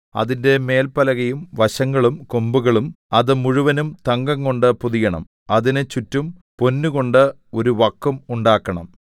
അതിന്റെ മേല്പലകയും വശങ്ങളും കൊമ്പുകളും അത് മുഴുവനും തങ്കംകൊണ്ട് പൊതിയണം അതിന് ചുറ്റും പൊന്നുകൊണ്ട് ഒരു വക്കും ഉണ്ടാക്കണം